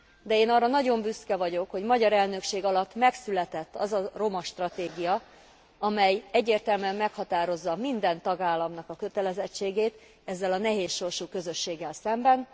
De én arra nagyon büszke vagyok, hogy magyar elnökség alatt megszületett az a romastratégia, amely egyértelműen meghatározza minden tagállamnak a kötelezettségét ezzel a nehéz sorsú közösséggel szemben.